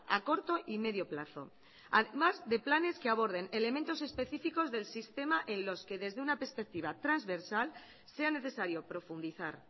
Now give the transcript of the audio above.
a corto y medio plazo además de planes que aborden elementos específicos del sistema en los que desde una perspectiva transversal sea necesario profundizar